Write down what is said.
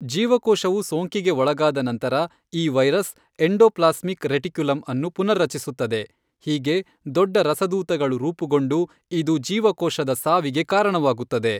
ಜೀವಕೋಶವು ಸೋಂಕಿಗೆ ಒಳಗಾದ ನಂತರ, ಈ ವೈರಸ್ ಎಂಡೋಪ್ಲಾಸ್ಮಿಕ್ ರೆಟಿಕ್ಯುಲಮ್ ಅನ್ನು ಪುನರ್ರಚಿಸುತ್ತದೆ, ಹೀಗೆ ದೊಡ್ಡ ರಸದೂತಗಳು ರೂಪಗೊಂಡು ಇದು ಜೀವಕೋಶದ ಸಾವಿಗೆ ಕಾರಣವಾಗುತ್ತದೆ.